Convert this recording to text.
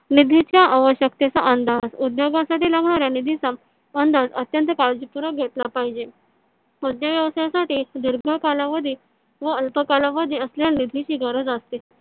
निधीच्या आवश्यकतेचा अंदाज. उद्योगासाठी लागणाऱ्या निधीचा अंदाज अत्यंत काळजीपूर्वक घेतला पाहिजे . उद्योग व्यवसायासाठी दीर्घ कालावधी व अल्प कालावधी अस निधीची गरज असते.